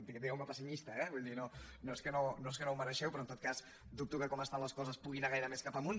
digueu me pessimista eh vull dir no és que no ho mereixeu però en tot cas dubto que com estan les coses pugui anar gaire més cap amunt